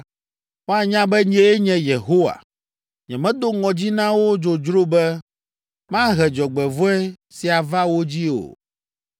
Woanya be nyee nye Yehowa; nyemedo ŋɔdzi na wo dzodzro be mahe dzɔgbevɔ̃e sia va wo dzii o.”